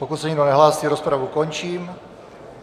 Pokud se nikdo nehlásí, rozpravu končím.